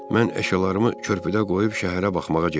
Mən əşyalarımı körpüdə qoyub şəhərə baxmağa getdim.